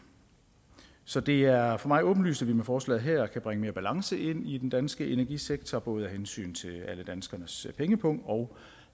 så det er er for mig åbenlyst at vi med forslaget her kan bringe mere balance ind i den danske energisektor både af hensyn til alle danskernes pengepung og